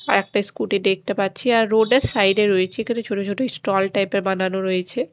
আর একটা স্কুটি দেখতে পাচ্ছি আর রোড -এর সাইড -এ রয়েছে এখানে ছোট ছোট ষ্টল টাইপ -এর বানানো রয়েছে।